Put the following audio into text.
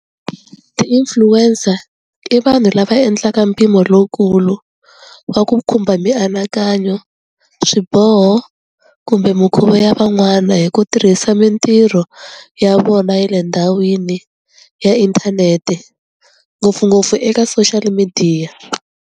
Ti-influencer i vanhu lava endlaka mpimo lowukulu wa ku khumba mianakanyo swiboho kumbe mikhuva ya van'wana hi ku tirhisa mintirho ya vona ya le ndhawini ya inthanete ngopfungopfu eka social midiya.